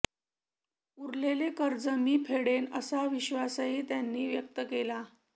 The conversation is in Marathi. उरलेलं कर्ज मी फेडेन असा विश्वासही त्यांनी व्यक्त केला